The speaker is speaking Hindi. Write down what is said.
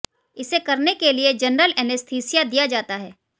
इसे करने के लिए जनरल एनेस्थीसिया दिया जाता है